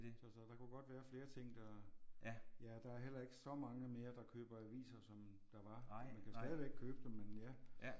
Så så der kunne godt være flere ting der ja og der er heller ikke så mange mere der køber aviser som der var man kan stadigvæk købe dem men ja